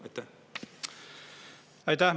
Aitäh!